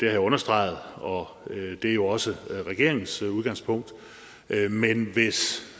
jeg understreget og det er jo også regeringens udgangspunkt men hvis